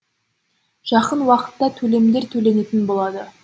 жақын уақытта төлемдер төленетін болады